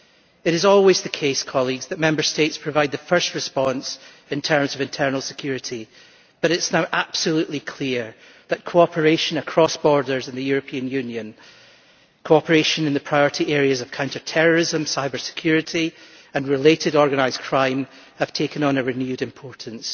It is always the case that Member States provide the first response in terms of internal security, but it is now absolutely clear that cooperation across borders of the European Union and cooperation in the priority areas of counter terrorism, cyber security and related organised crime have taken on a renewed importance.